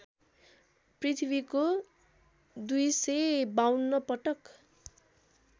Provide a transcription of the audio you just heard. पृथ्वीको २५२ पटक